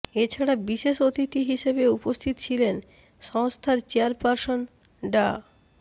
এ ছাড়া বিশেষ অতিথি হিসেবে উপস্থিত ছিলেন সংস্থার চেয়ারপারসন ডা